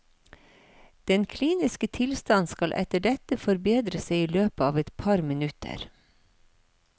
Den kliniske tilstand skal etter dette forbedre seg i løpet av et par minutter.